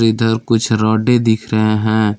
इधर कुछ रॉडे दिख रहे हैं।